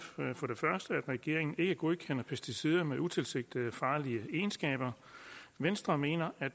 regeringen ikke godkender pesticider med utilsigtede og farlige egenskaber venstre mener at